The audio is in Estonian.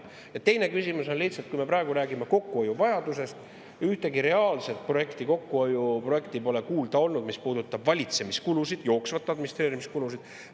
Ja teine küsimus on selle kohta, et me praegu räägime kokkuhoiu vajadusest, aga pole kuulda olnud ühtegi reaalset kokkuhoiuprojekti, mis puudutab valitsemiskulusid, jooksvaid administreerimiskulusid.